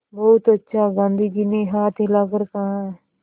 बहुत अच्छा गाँधी जी ने हाथ हिलाकर कहा